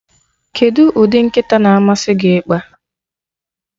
Kedụ ụdị nkata na-amasị gị ịkpa?